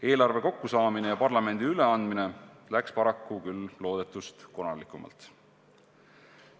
Eelarve kokkusaamine ja parlamendile üleandmine läks paraku loodetust konarlikumalt.